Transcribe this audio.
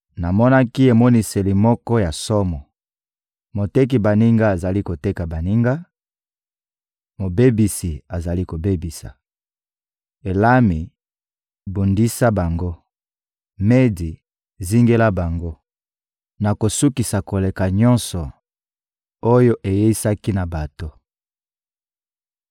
Namonaki emoniseli moko ya somo: Moteki baninga azali koteka baninga, mobebisi azali kobebisa. Elami, bundisa bango! Medi, zingela bango! Nakosukisa kolela nyonso oyo ayeisaki na bato.